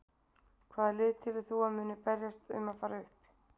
Hvaða lið telur þú að muni berjast um að fara upp?